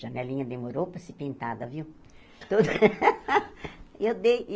Janelinha demorou para ser pintada, viu? Eu dei